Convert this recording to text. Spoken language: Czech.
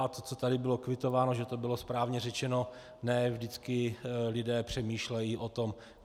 A to, co tady bylo kvitováno, že to bylo správně řečeno, ne vždycky lidé přemýšlejí o tom.